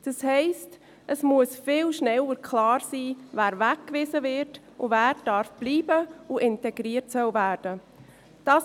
Das heisst, es muss viel schneller klar sein, wer weggewiesen wird und wer bleiben darf und integriert werden soll.